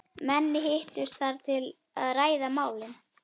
Menn hittust þar til að ræða málin.